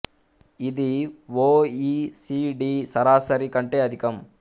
ఇది O E C D సరాసరి కంటే అధికం